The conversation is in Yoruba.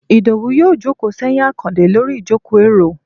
idowú yóò jòkó seyín akande Lori ìjokó- eró